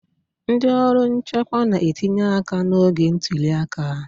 ndị ọrụ nchekwa na-etinye aka n'oge ntuli aka